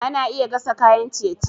Ana iya gasa kayan ciye-ciye.